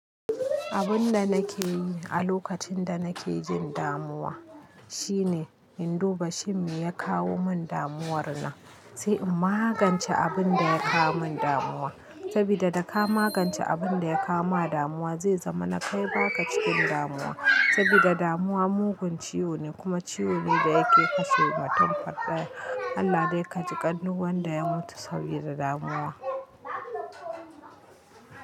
Abun da nake yi a lokacin da nake jin damuwa shine in duba shin me ya kawo min damuwar na sai in magance abun da ya kawo min damuwa. Saboda da ka magance abun da ya kawo ma damuwa zai zama na kai baka cikin damuwa. Saboda damuwa mugun ciwo ne kuma ciwo ne da yake kashe mutum faɗɗa. Allah dai ka jiƙan duk wanda ya mutu saboda damuwa.